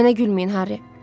Mənə gülməyin Harry.